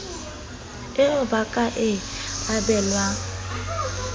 eo ba ka e abelwang